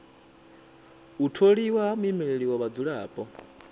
u tholiwa ha muimeleli wa vhadzulapo